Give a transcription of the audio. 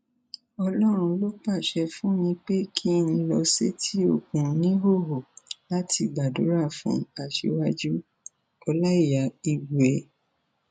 ọlọrun ló pàṣẹ fún mi pé kí n lọ sétí òkun níhòòhò láti gbàdúrà fún aṣíwájúọláìyá igbe